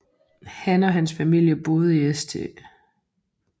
Han og hans familie boede i St